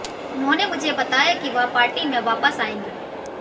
उन्होंने मुझे बताया कि वह पार्टी में वापस आएंगे